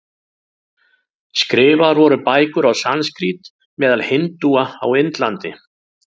Skrifaðar voru bækur á sanskrít meðal hindúa á Indlandi.